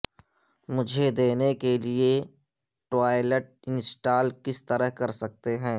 مجھے دینے کے لئے ٹوائلٹ انسٹال کس طرح کر سکتے ہیں